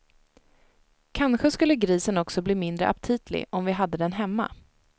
Kanske skulle grisen också bli mindre aptitlig om vi hade den hemma.